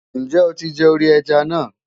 Ǹjẹ́ o ti jẹ orí ẹja náà?